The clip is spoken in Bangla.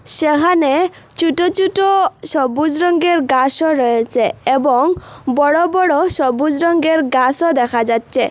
সেহানে ছুটো ছুটো সবুজ রঙ্গের গাসও রয়েছে এবং বড় বড় সবুজ রঙ্গের গাসও দেখা যাচ্ছে।